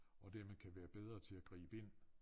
Og dermed kan være bedre til at gribe ind